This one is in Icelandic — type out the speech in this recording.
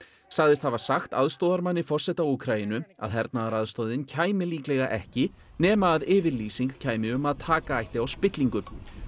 sagðist hafa sagt aðstoðarmanni forseta Úkraínu að hernaðaraðstoðin kæmi líklega ekki nema að yfirlýsing kæmi um að taka á spillingu